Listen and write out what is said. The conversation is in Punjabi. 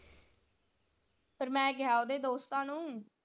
ਫਿਰ ਮੈਂ ਕਿਹਾ ਓਹਦੇ ਦੋਸਤਾਂ ਨੂੰ।